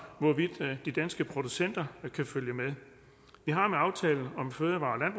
hvorvidt de danske producenter kan følge med vi har med aftalen om fødevare